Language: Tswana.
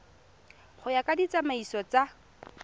go ya ka ditsamaiso tsa